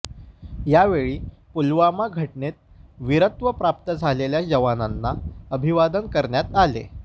यावेळी पुलवामा घटनेत विरत्व प्राप्त झालेल्या जवानांना अभिवादन करण्यात आले